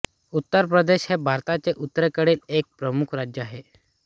उत्तर प्रदेश हे भारताचे उत्तरेकडील एक प्रमुख राज्य आहे